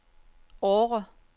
Årre